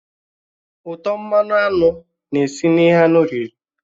Útọ̀ mmanụ aṅụ na-esi na ihe anụ riri